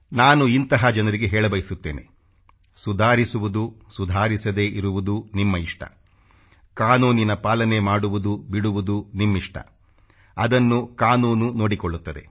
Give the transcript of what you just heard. ನಾನು ಇಂಥ ಜನರಿಗೆ ಹೇಳಬಯಸುತ್ತೇನೆ ಸುಧಾರಿಸುವುದು ಸುಧಾರಿಸದೇ ಇರುವುದು ನಿಮ್ಮ ಇಷ್ಟ ಕಾನೂನಿನ ಪಾಲನೆ ಮಾಡುವುದು ಬಿಡುವುದು ನಿಮ್ಮಿಷ್ಟ ಅದನ್ನು ಕಾನೂನು ನೋಡಿಕೊಳ್ಳುತ್ತದೆ